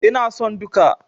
Ina son duka.